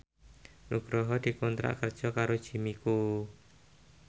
Nugroho dikontrak kerja karo Jimmy Coo